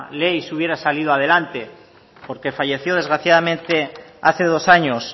ley si hubiera salido adelante porque falleció desgraciadamente hace dos años